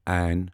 ع